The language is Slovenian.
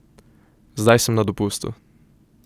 Zdaj sem na dopustu.